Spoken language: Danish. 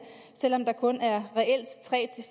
selv om der reelt kun er tre